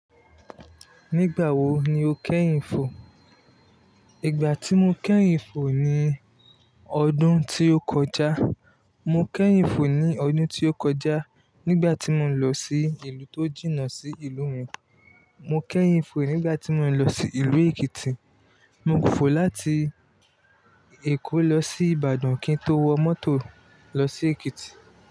Nígbà wo ni o kẹ́yìn fò? Ìgbà tí mo kẹ́yìn fò ni ọdún tí ó kọjá. Mo kẹ́yìn fò ní ọdún tí ó kọjá nígbà tí mo ń lọ sí ìlú tó jìnnà sí ìlú mi. Mo kẹ́yìn fò nígbà tí mo ń lọ sí Ìlú Èkìtì. Mo fò láti Èkó lọ sí Ìbàdàn kí n tó wọ mọ́tò lọ sí Èkìtì.